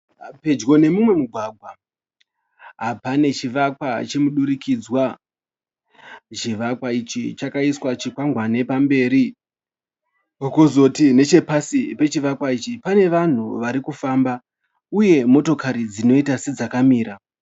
Pedyo nemumwe mugwagwa, pane chivakwa chemudurikidzwa. Chivakwa ichi pakaiswa chikwangwane pamberi. Kuzoti nechepasi pechovakwa ichi panevanhu varikufamba, uye dzimotokari dzinoita sedzakamira.